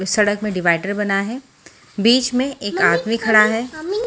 इस सड़क में डिवाइडर बना है बीच में एक आदमी खड़ा है।